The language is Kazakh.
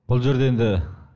бұл жерде енді